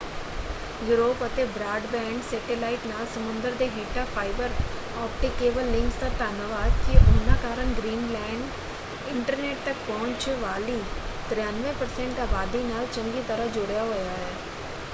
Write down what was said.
Europe ਅਤੇ broadband satellite ਨਾਲ ਸਮੁੰਦਰ ਦੇ ਹੇਠਾਂ ਫਾਈਬਰ ਆਪਟਿਕ ਕੇਬਲ ਲਿੰਕਸ ਦਾ ਧੰਨਵਾਦ ਕਿ ਉਹਨਾਂ ਕਾਰਨ ਗ੍ਰੀਨਲੈਂਡ ਇੰਟਰਨੈੱਟ ਤੱਕ ਪਹੁੰਚ ਵਾਲੀ 93% ਆਬਾਦੀ ਨਾਲ ਚੰਗੀ ਤਰ੍ਹਾਂ ਜੁੜਿਆ ਹੋਇਆ ਹੈ।